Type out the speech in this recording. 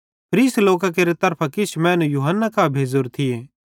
फरीसी लोकां केरे तरफां किछ मैनू यूहन्ना कां भेज़ोरे थिये